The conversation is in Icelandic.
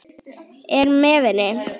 Er með henni.